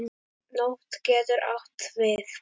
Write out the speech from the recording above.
Nótt getur átt við